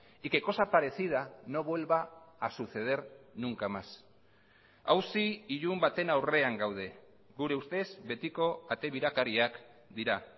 y que cosa parecida no vuelva a suceder nunca más auzi ilun baten aurrean gaude gure ustez betiko ate birakariak dira